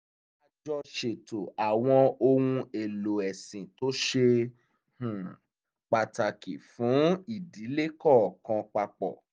a jọ ṣètò àwọn ohun èlò ẹ̀sìn tó ṣe um pàtàkì fún ìdílé kọ̀ọ̀kan papọ̀